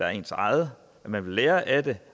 er ens egen at man vil lære af det